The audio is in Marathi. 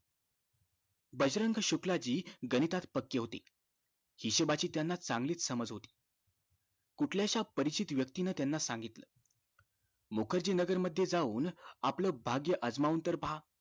बजरंग शुक्लाजी गणितात पक्के होते हिशोबाची त्यांना चांगलीच समज होती कुठल्या शा परीक्षित व्यक्ती नि त्यांना सांगितलं मुखर्जी नगर मध्ये जाऊन आपलं भाग्यं अजमावून तरी पहा